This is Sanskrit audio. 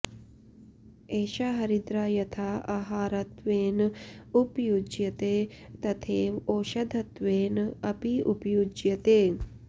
एषा हरिद्रा यथा आहारत्वेन उपयुज्यते तथैव औषधत्वेन अपि उपयुज्यते